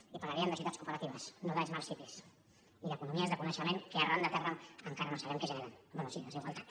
i parlaríem de societats cooperatives no de smart cities i d’economies de coneixement que arran de terra encara no sabem què generen bé sí desigualtat